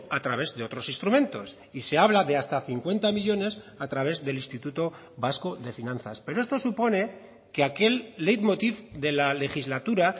a través de otros instrumentos y se habla de hasta cincuenta millónes a través del instituto vasco de finanzas pero esto supone que aquel leitmotiv de la legislatura